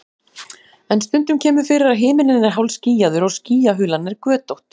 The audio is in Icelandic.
en stundum kemur fyrir að himinninn er hálfskýjaður og skýjahulan er götótt